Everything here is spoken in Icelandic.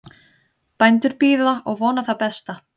Bændur bíða og vona það besta